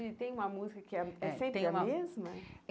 E tem uma música que é é tem uma é sempre a mesma?